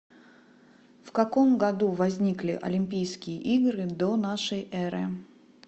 в каком году возникли олимпийские игры до нашей эры